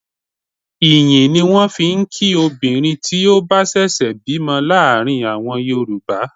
Ìyìn ni wọ́n fi ń kí obìnrin tí ó bá ṣẹ̀ṣẹ̀ bímọ láàrin àwọn Yorùbá.